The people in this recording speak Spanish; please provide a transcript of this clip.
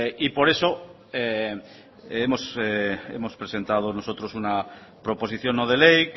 y por eso hemos presentado nosotros una proposición no de ley